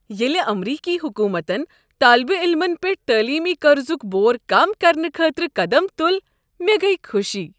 ییٚلہ امریکی حکومتن طالب علِمن پٮ۪ٹھ تعلیمی قرضک بور کم کرنہٕ خٲطرٕ قدم تل، مےٚ گ۔ یہ خوشی۔